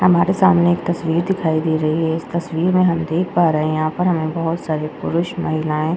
हमारे सामने एक तस्वीर दिखाई दे रही है इस तस्वीर में हम देख पा रहे हैं यहाँ पर हमें बोहोत सारे पुरुष महिलाए --